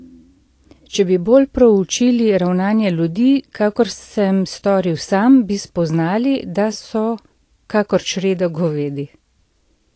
Če bi bolj proučili ravnanje ljudi, kakor sem storil sam, bi spoznali, da so kakor čreda govedi.